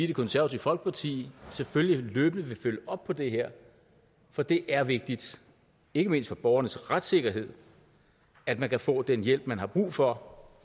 det konservative folkeparti selvfølgelig løbende vil følge op på det her for det er vigtigt ikke mindst for borgernes retssikkerhed at man kan få den hjælp man har brug for